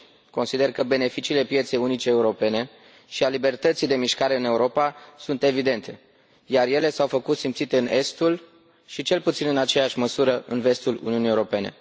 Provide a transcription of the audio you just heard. Consider că beneficiile pieței unice europene și a libertății de mișcare în Europa sunt evidente și s au făcut simțite în estul și, cel puțin în aceeași măsură, în vestul Uniunii Europene.